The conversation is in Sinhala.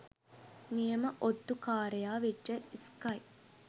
නියම ඔත්තුකාරයා වෙච්ච ස්කයි